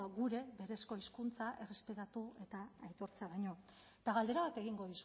gure berezko hizkuntza errespetatu eta aitortzea baino eta galdera bat egingo